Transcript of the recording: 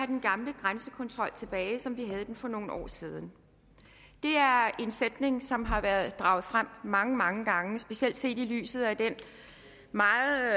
den gamle grænsekontrol tilbage som vi havde den for nogle år siden det er en sætning som har været draget frem mange mange gange specielt set i lyset af den meget